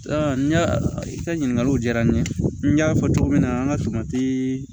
n y'a i ka ɲininkaliw diyara n ye n y'a fɔ cogo min na an ka tomatii